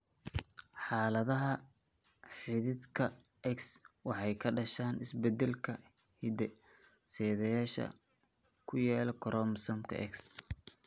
Xaaladaha xidhiidhka X waxay ka dhashaan isbeddellada hidde-sideyaasha ee ku yaal koromosoomka X.